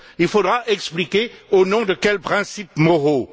Il faudra expliquer au nom de quels principes moraux.